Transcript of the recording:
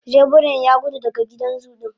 zebiran Yagudu daga gidan zu din